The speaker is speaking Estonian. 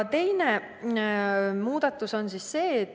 Teine muudatus on järgmine.